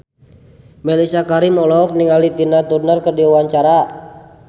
Mellisa Karim olohok ningali Tina Turner keur diwawancara